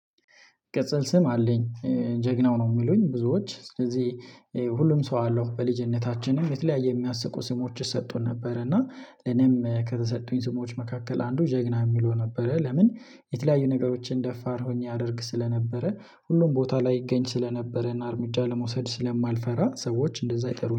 ቅጽል ስም አለኝ። ጀግናው ነው የሚሉኝ ብዙዎች ስለዚህ ሁሉም ሰው አለው በልጅነታችንም የተለያየ የሚያስቁ ስሞች ይሰጡን ነበር እና እኔም ከተሰጡኝ ስሞች መካከል አንዱ ጀግና የሚለው ነበር። ለምን የተለያዩ ነገሮችን ደፋር ሆኜ አደርግ ስለነበረ ሁሉም ቦታ ላይ ይገኝ ስለነበረና እርምጃ ለመውሰድ ስለማልፈራ ሰዎች እንደዛ ይጠሩኝ